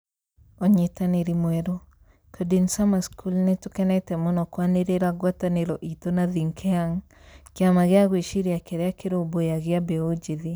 Ūnyitanĩri mwerũ: Coding Summer School Nĩ tũkenete mũno kwanĩrĩra ngwatanĩro itũ na Think Young, kĩama gĩa gwĩciria kĩrĩa kĩrũmbũyagia mbeũ njĩthĩ".